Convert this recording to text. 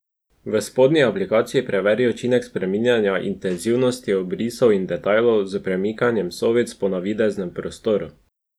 V spodnji aplikaciji preveri učinek spreminjanja intenzivnosti obrisov in detajlov s premikanjem sovic po navideznem prostoru.